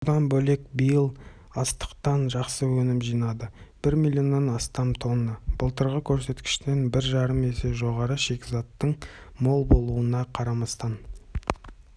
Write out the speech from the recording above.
бұдан бөлек биыл астықтан жақсы өнім жинады бір миллионнан астам тонна былтырғы көрсеткіштен бір жарым есе жоғары шикізаттың мол болуына қарамастан